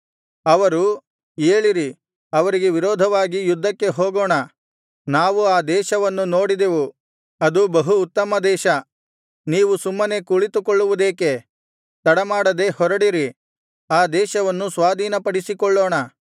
ಅವರು ಏಳಿರಿ ಅವರಿಗೆ ವಿರೋಧವಾಗಿ ಯುದ್ಧಕ್ಕೆ ಹೋಗೋಣ ನಾವು ಆ ದೇಶವನ್ನು ನೋಡಿದೆವು ಅದು ಬಹು ಉತ್ತಮದೇಶ ನೀವು ಸುಮ್ಮನೆ ಕುಳಿತುಕೊಳ್ಳುವುದೇಕೆ ತಡಮಾಡದೆ ಹೊರಡಿರಿ ಆ ದೇಶವನ್ನು ಸ್ವಾಧೀನಪಡಿಸಿಕೊಳ್ಳೋಣ